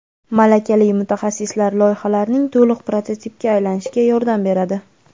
malakali mutaxassislar loyihalarning to‘liq prototipga aylanishiga yordam beradi.